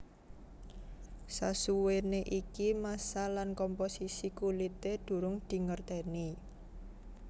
Sasuwené iki massa lan komposisi kulité durung dingerteni